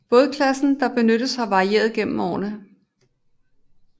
Bådklassen der benyttes har varieret gennem årene